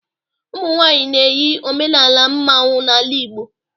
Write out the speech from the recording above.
umunwanyi na-eyi omenala mmanwu n'ala Igbo